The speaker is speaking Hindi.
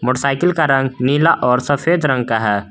साइकिल का रंग नीला और सफेद रंग का है।